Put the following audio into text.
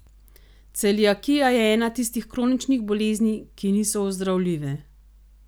Celiakija je ena tistih kroničnih boleznih, ki niso ozdravljive.